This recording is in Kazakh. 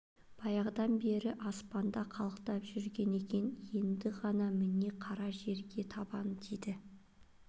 баяғыдан бері аспанда қалықтап жүрген екен енді ғана міне қара жерге табаны тиді